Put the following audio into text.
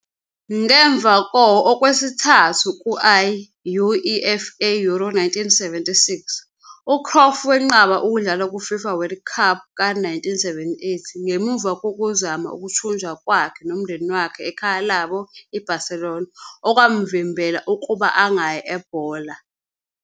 Ngemva ko okwesithathu ku-I-UEFA Euro 1976, uCruyff wenqaba ukudlala ku-FIFA World Cup ka-1978 ngemuva kokuzama ukuthunjwa kwakhe nomndeni wakhe ekhaya labo IBarcelona okwamvimbela ukuba angayi ebhola.